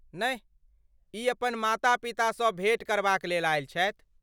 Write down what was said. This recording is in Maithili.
नहि, ई अपन माता पितासँ भेँट करबाक लेल आयल छथि।